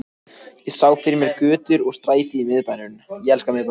Ég sá fyrir mér götur og stræti í miðbænum